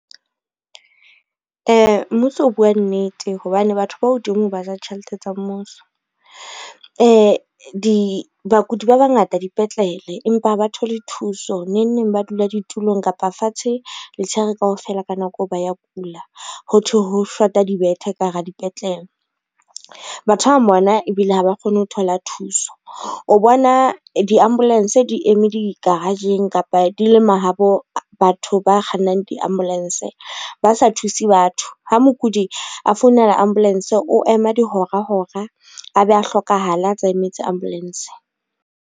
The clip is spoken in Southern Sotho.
Mmuso o bua nnete hobane batho ba hodimo ba ja tjhelete tsa mmuso. Bakudi ba bangata dipetlele, empa ha ba thole thuso neng neng ba dula ditulong kapa fatshe letshehare kaofela ka nako eo ba ya kula ho thwe ho shota dibethe ka hara dipetlele. Batho ba bang bona ebile ha ba kgone ho thola thuso, o bona di-ambulance di eme di-garage-ng kapa di le ma habo batho ba kgannang di-ambulance ba sa thuse batho. Ha mokudi a founela ambulance o ema dihora hora a be a hlokahale a tsa emetse ambulance.